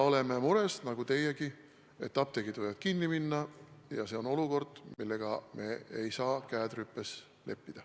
Oleme nagu teiegi mures, et apteegid võivad kinni minna, ja see on olukord, millega me ei saa käed rüpes istudes leppida.